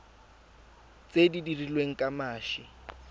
tse di dirilweng ka mashi